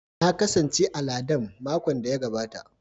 Na kasance a Landan makon da ya gabata